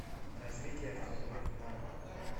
развитие автомобильных марок